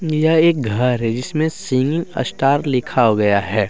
यह एक घर है जिसमें सिंगिंग अस्टार लिखा हो गया है।